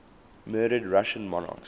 murdered russian monarchs